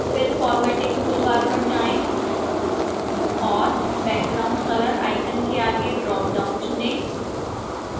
फिर formatting toolbar पर जाएं और background color icon के आगे ड्रापडाउन चुनें